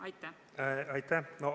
Aitäh!